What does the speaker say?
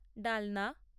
ডালনা